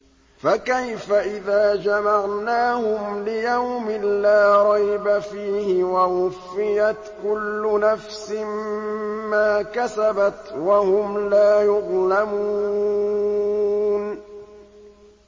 فَكَيْفَ إِذَا جَمَعْنَاهُمْ لِيَوْمٍ لَّا رَيْبَ فِيهِ وَوُفِّيَتْ كُلُّ نَفْسٍ مَّا كَسَبَتْ وَهُمْ لَا يُظْلَمُونَ